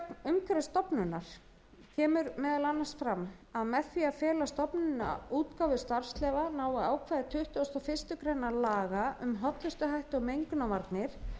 umhverfisstofnunar kemur meðal annars fram að með því að fela stofnuninni útgáfu starfsleyfa nái ákvæði tuttugasta og fyrstu grein laga um hollustuhætti og mengunarvarnir